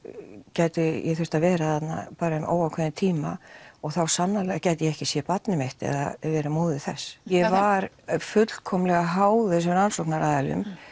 gæti ég þurft að vera þarna í óákveðinn tíma og þá sannarlega gæti ég ekki séð barnið mitt eða verið móðir þess ég var fullkomlega háð þessum rannsóknaraðilum